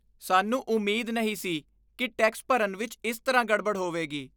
ਸਾਨੂੰ ਉਮੀਦ ਨਹੀਂ ਸੀ ਕਿ ਟੈਕਸ ਭਰਨ ਵਿਚ ਇਸ ਤਰ੍ਹਾਂ ਗੜਬੜ ਹੋਵੇਗੀ!